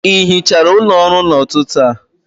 ị hichara ụlọ ọrụ a n'ụtụtụ a?